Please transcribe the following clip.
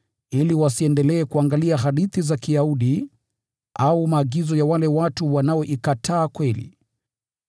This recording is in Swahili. ili wasiendelee kuangalia hadithi za Kiyahudi au maagizo ya wale watu wanaoikataa kweli.